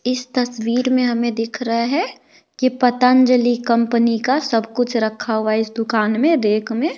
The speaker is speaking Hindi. इस तस्वीर में हमें दिख रहा है कि पतांजलि कंपनी का सब कुछ रखा हुआ है इस दुकान में रैक में।